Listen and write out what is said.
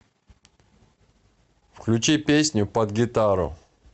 включи песню под гитару